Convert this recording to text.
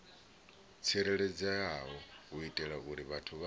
tsireledzeaho u itela uri vhathu